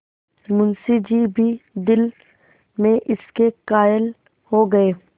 मुंशी जी भी दिल में इसके कायल हो गये